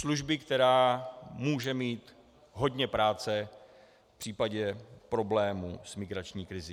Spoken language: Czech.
Služby, která může mít hodně práce v případě problémů s migrační krizí.